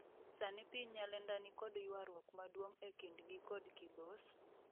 Sani piny Nyalenda nikod ywaruok maduong' e kind'gi kod Kibos ,